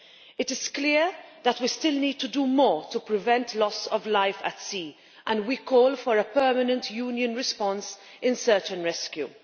It is clear that we still need to do more to prevent loss of life at sea, and we call for a permanent Union response in search and rescue.